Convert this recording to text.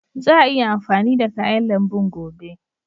Za a iya amfani da kayan lambun gobe.